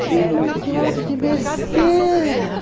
Que montuado de besteira!